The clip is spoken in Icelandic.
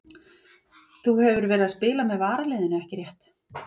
Þú hefur verið að spila með varaliðinu ekki rétt?